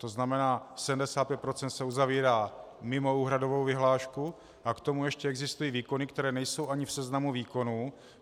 To znamená, 75 % se uzavírá mimo úhradovou vyhlášku a k tomu ještě existují výkony, které nejsou ani v seznamu výkonů.